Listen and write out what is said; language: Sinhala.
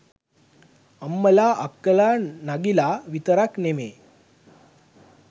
අම්මලා අක්කලා නගිලා විතරක් නෙමේ